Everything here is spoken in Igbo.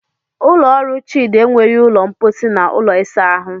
Ụlọ ọrụ Chidi enweghị ụlọ mposi na ụlọ ịsa ahụ